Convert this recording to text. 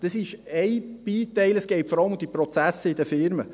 , das ist ein Teil, es geht vor allem um die Prozesse in den Firmen.